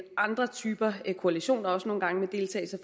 andre typer koalitioner også nogle gange